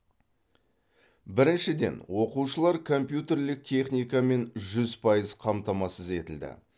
біріншіден оқушылар компьютерлік техникамен жүз пайыз қамтамасыз етілді